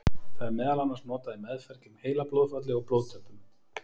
Það er meðal annars notað í meðferð gegn heilablóðfalli og blóðtöppum.